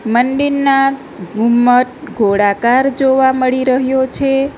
મંદિરના ઘુમ્મટ ગોળાકાર જોવા મળી રહ્યો છે.